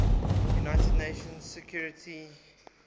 united nations security